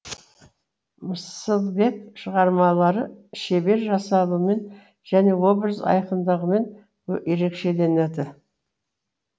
мыслбек шығармалары шебер жасалуымен және образ айқындығымен ерекшеленеді